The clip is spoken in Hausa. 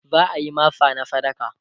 za'ayi masa masa na sadaka